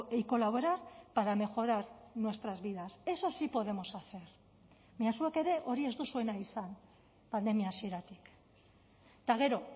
y colaborar para mejorar nuestras vidas eso sí podemos hacer baina zuek ere hori ez duzue nahi izan pandemia hasieratik eta gero